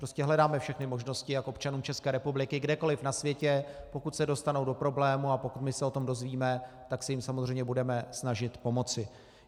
Prostě hledáme všechny možnosti, jak občanům České republiky kdekoliv na světě, pokud se dostanou do problémů a pokud my se o tom dozvíme, tak se jim samozřejmě budeme snažit pomoci.